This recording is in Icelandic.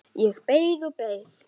Ég beið og beið.